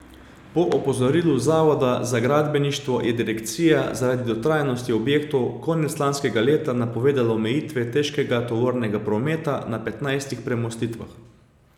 Po opozorilu Zavoda za gradbeništvo je direkcija zaradi dotrajanosti objektov konec lanskega leta napovedala omejitve težkega tovornega prometa na petnajstih premostitvah.